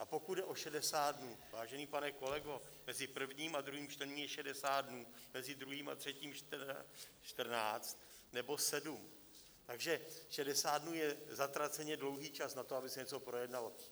A pokud jde o 60 dnů: Vážený pane kolego, mezi prvním a druhým čtením je 60 dnů, mezi druhým a třetím 14 nebo 7, takže 60 dnů je zatraceně dlouhý čas na to, aby se něco projednalo.